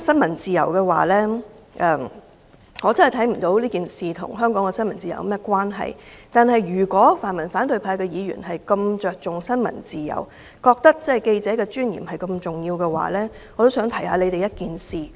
我真的看不到這事件與香港的新聞自由有何關係，但是，如果泛民和反對派議員如此着重新聞自由，認為記者的尊嚴如此重要，我也想提醒他們一件事。